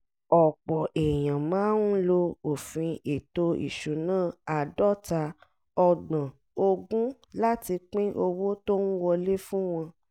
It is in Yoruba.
ọ̀pọ̀ èèyàn máa ń lo òfin ètò ìṣúná àádọ́ta ọgbọ̀n ogún láti pín owó tó ń wọlé fún wọn